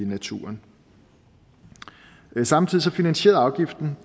naturen samtidig finansierede afgiften